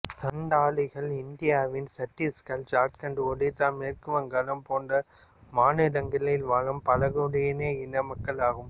சந்தாலிகள் இந்தியாவின் சத்தீஸ்கர் ஜார்கண்ட் ஒடிசா மேற்கு வங்காளம் போன்ற மாநிலங்களில் வாழும் பழங்குடி இன மக்கள் ஆகும்